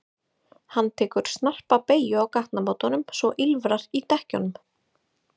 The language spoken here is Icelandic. Hann tekur tekur snarpa beygju á gatnamótum svo að ýlfrar í dekkjunum.